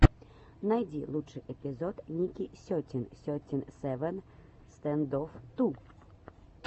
найди лучший эпизод ники сетин сети севен стэндофф ту